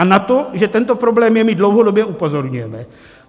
A na to, že tento problém je, my dlouhodobě upozorňujeme.